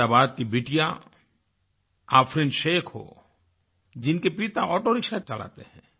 अहमदाबाद की बिटिया आफरीन शेख़ हो जिनके पिता ऑटो रिक्शा चलाते हैं